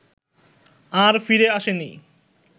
আর ফিরে আসেনি